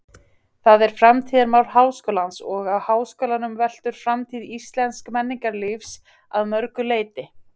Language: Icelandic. Það er framtíðarmál háskólans og á háskólanum veltur framtíð íslensks menningarlífs að mörgu leyti.